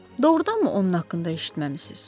Doğrudanmı onun haqqında eşitməmisiz?